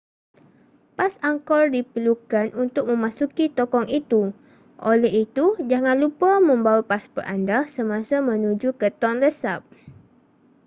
pas angkor diperlukan untuk memasuki tokong itu oleh itu jangan lupa membawa pasport anda semasa menuju ke tonle sap